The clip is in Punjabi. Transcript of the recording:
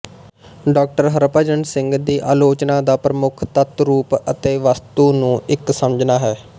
ਡਾ ਹਰਿਭਜਨ ਸਿੰਘ ਦੀ ਆਲੋਚਨਾ ਦਾ ਪ੍ਰਮੁੱਖ ਤੱਤ ਰੂਪ ਅਤੇ ਵਸਤੂ ਨੂੰ ਇੱਕ ਸਮਝਣਾ ਹੈ